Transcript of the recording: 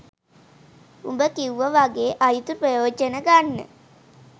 උඹ කිව්ව වගේ 'අයුතු ප්‍රයෝජන' ගන්න